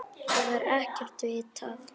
Það er ekkert vitað.